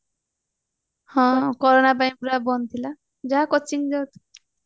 ହଁ corona ପାଇଁ ପୁରା ବନ୍ଦ ଥିଲା ଯାହା coaching ଯାଉଥିଲି